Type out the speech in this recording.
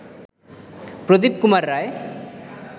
প্রদীপ Kumar রায়